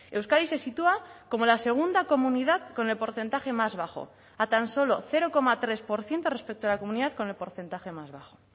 euskadi se sitúa como la segunda comunidad con el porcentaje más bajo a tan solo cero coma tres por ciento respecto a la comunidad con el porcentaje más bajo